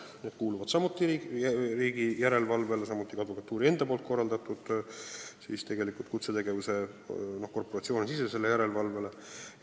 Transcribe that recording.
See kuulub riigi järelevalve alla, samuti advokatuuri enda korraldatud korporatsioonisisese järelevalve alla.